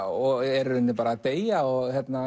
og er í rauninni bara að deyja og